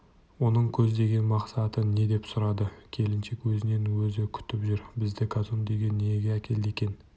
оның көздеген мақсаты не деп сұрады келіншек өзінен өзі күтіп жүр бізді казондеге неге әкелді екен